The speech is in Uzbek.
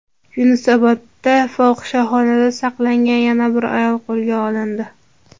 Yunusobodda fohishaxona saqlagan yana bir ayol qo‘lga olindi.